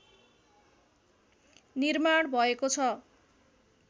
निर्माण भएको छ